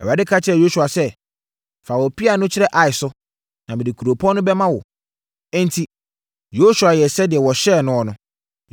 Awurade ka kyerɛɛ Yosua sɛ, “Fa wo pea no kyerɛ Ai so, na mede kuropɔn no bɛma wo.” Enti, Yosua yɛɛ sɛdeɛ wɔhyɛɛ noɔ no.